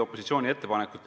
Palun!